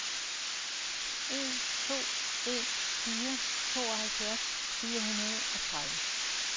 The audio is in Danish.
en to en fire tooghalvfjerds fire hundrede og tredive